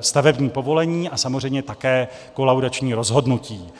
stavební povolení a samozřejmě také kolaudační rozhodnutí.